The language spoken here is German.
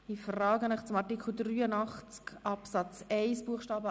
Wir kommen zu Artikel 83 Absatz 1 Buchstabe